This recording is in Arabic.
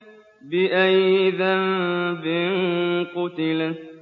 بِأَيِّ ذَنبٍ قُتِلَتْ